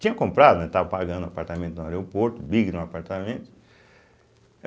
Tinha comprado, né, estava pagando um apartamento no aeroporto, um big de um apartamento.